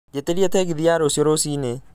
njĩtĩria tegithi ya rũcio rũcinĩ